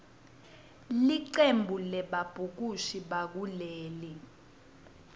licembu lebabhukushi bakuleli